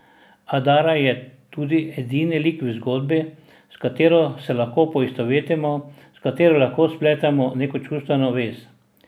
Adara je tudi edini lik v zgodbi s katero se lahko poistovetimo, s katero lahko spletemo neko čustveno vez.